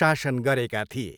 शासन गरेका थिए।